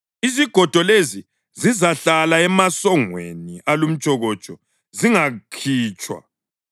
Izigodo lezi zizahlala emasongweni alumtshokotsho, zingakhitshwa.